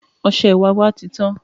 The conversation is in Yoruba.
Ọsẹ ìwẹ̀ wá titán.